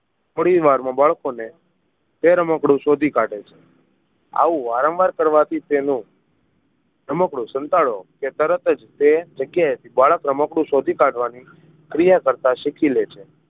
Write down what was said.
ફરીવાર માં બાળકો ને એ રમકડું શોધી કાઢે છે આવું વારંવાર કરવાથી તેનું રમકડું સંતાડો કે તરત જ તે જગ્યા એ થી બાળક રમકડું શોધી કાઢવાની ક્રિયા કરતાં શીખીલે છે